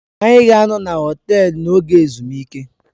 Anyị ga-anọ na họtelu n'oge ezumike.